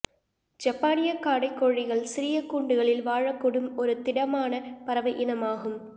ஜப்பானியக்காடை கோழிகள் சிறிய கூண்டுகளில் வாழக்கூடும் ஒரு திடமான பறவை இனமாகும்